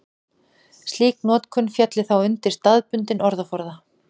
slík notkun félli þá undir staðbundinn orðaforða